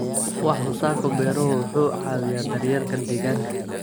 Wax soo saarka beeruhu waxa uu caawiyaa daryeelka deegaanka.